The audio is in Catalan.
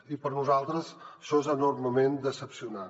i per nosaltres això és enormement decebedor